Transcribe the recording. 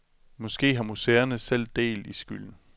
Måske har museerne selv del i skylden.